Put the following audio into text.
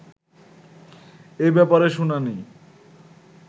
এ ব্যাপারে শুনানি